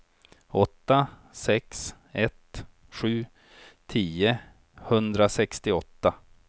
åtta sex ett sju tio etthundrasextioåtta